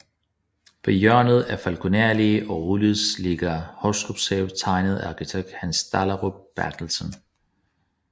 På hjørnet af Falkoner Allé og Rolighedsvej ligger Hostrups Have tegnet af arkitekt Hans Dahlerup Berthelsen